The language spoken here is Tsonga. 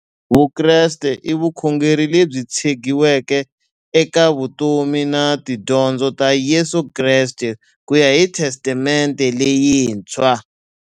Vukreste i vukhongeri lebyi tshegiweke eka vutomi na tidyondzo ta Yesu Kreste kuya hi Testamente leyintshwa.